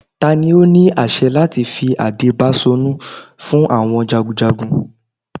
Tani o ni aṣẹ lati fi ade Baṣorun fun awọn jagunjagun?